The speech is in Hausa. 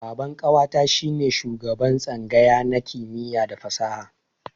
Baban ƙawata shi ne shugaban tsangaya na kimiyya da fasaha.